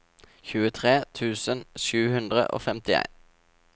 tjuetre tusen sju hundre og femtien